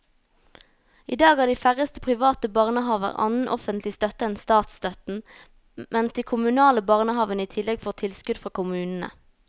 I dag har de færreste private barnehaver annen offentlig støtte enn statsstøtten, mens de kommunale barnehavene i tillegg får tilskudd fra kommunene.